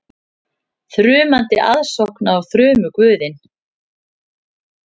Þrumandi aðsókn á þrumuguðinn